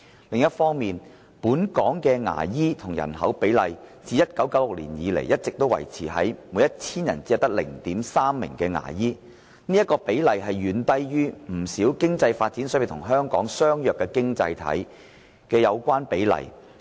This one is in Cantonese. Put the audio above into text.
另一方面，本港牙醫與人口比例自1996年以來一直維持在每一千人 0.3 名牙醫，而該比例遠低於不少經濟發展水平與香港相若的經濟體的有關比例。